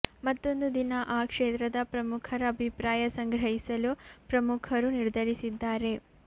ಮತ್ತೂಂದು ದಿನ ಆ ಕ್ಷೇತ್ರದ ಪ್ರಮುಖರ ಅಭಿಪ್ರಾಯ ಸಂಗ್ರಹಿಸಲು ಪ್ರಮುಖರು ನಿರ್ಧರಿಸಿದ್ದಾರೆ